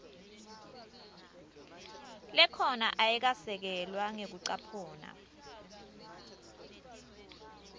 lekhona ayikasekelwa ngekucaphuna